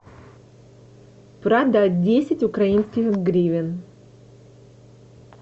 продать десять украинских гривен